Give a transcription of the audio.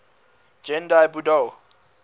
gendai budo